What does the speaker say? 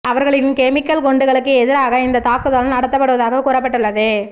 அவர்களின் கெமிக்கல் குண்டுகளுக்கு எதிராக இந்த தாக்குதல் நடத்தப்படுவதாக கூறப்பட்டுள்ளது